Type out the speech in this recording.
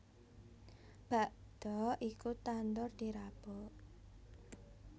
Bakda iku tandur dirabuk